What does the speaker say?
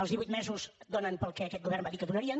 els divuit mesos donen per al que aquest govern va dir que donarien